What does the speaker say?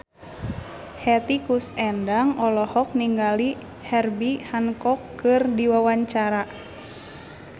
Hetty Koes Endang olohok ningali Herbie Hancock keur diwawancara